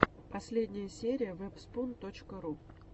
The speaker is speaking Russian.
последняя серия вэбспун точка ру